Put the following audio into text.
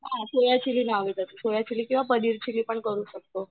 soya chilli नाही आवडत तर सोयाचिली किंवा पनीरचिलीं पण करू शकतो